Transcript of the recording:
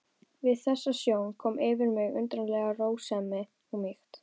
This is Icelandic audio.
Við þessa sjón kom yfir mig undarleg rósemi og mýkt.